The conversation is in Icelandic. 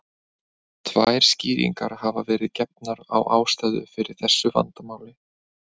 Tvær skýringar hafa verið gefnar á ástæðu fyrir þessu vandamáli.